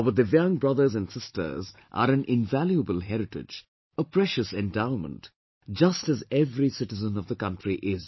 Our Divyaang brothers and sisters are an invaluable heritage, a precious endowment, just as every citizen of the country is